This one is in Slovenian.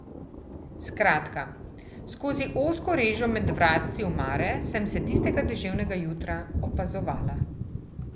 Skratka, skozi ozko režo med vratci omare sem te tistega deževnega jutra opazovala.